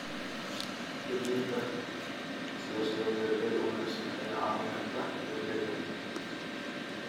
Dejinta siyaasado beeralay oo wanaagsan ayaa caawin karta beeralayda.